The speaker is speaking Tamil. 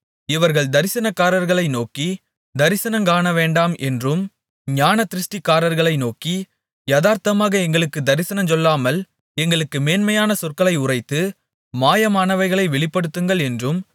இவர்கள் தரிசனக்காரர்களை நோக்கி தரிசனங் காணவேண்டாம் என்றும் ஞானதிருஷ்டிக்காரர்களை நோக்கி யதார்த்தமாக எங்களுக்குத் தரிசனஞ்சொல்லாமல் எங்களுக்கு மென்மையான சொற்களை உரைத்து மாயமானவைகளைத் வெளிப்படுத்துங்கள் என்றும்